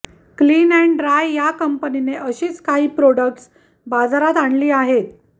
clean and dry या कंपनीने अशीच काही प्रॉडक्ट्स बाजारात आणले आहेत